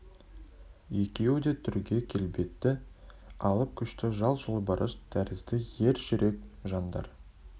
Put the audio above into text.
екеуі де түрге келбетті алып күшті жас жолбарыс тәрізді ер жүрек жандар